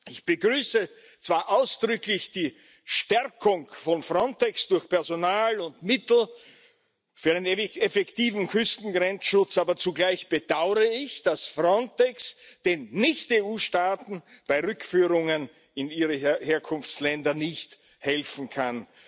Ich begrüße zwar ausdrücklich die Stärkung von Frontex durch Personal und Mittel für einen effektiven Küstengrenzschutz, aber zugleich bedaure ich, dass Frontex den Nicht EU Staaten bei Rückführungen in ihre Herkunftsländer nicht helfen kann.